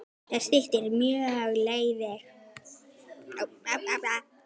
Það styttir mjög leiðir.